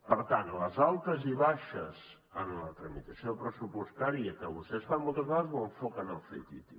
per tant les altes i baixes en la tramitació pressupostària que vostès fan moltes vegades ho enfoquen al ctti